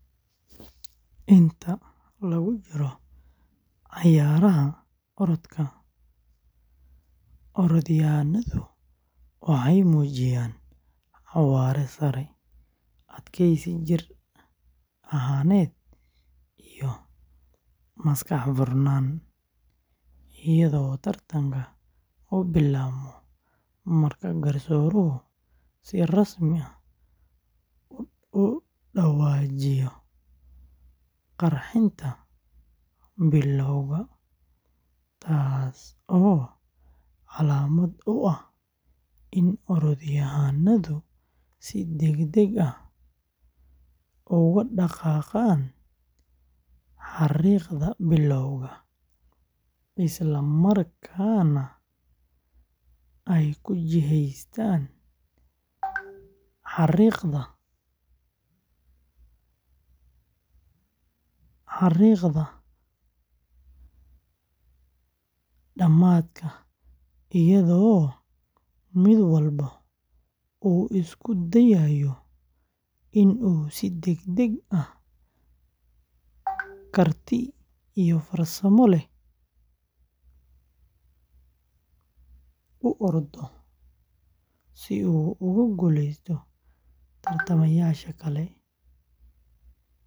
Inta lagu jiro cayaaraha orodka, orodyahannadu waxay muujiyaan xawaare sare, adkaysi jir ahaaneed iyo maskax furan, iyadoo tartanka uu bilaabmo marka garsooruhu si rasmi ah u dhawaajiyo qarxinta bilowga, taasoo calaamad u ah in orodyahannadu si degdeg ah uga dhaqaaqaan xariiqda bilowga, isla markaana ay u jihaystaan xariiqda dhamaadka iyadoo mid walba uu isku dayayo in uu si degdeg ah, karti iyo farsamo leh u ordo si uu uga guuleysto tartamayaasha kale.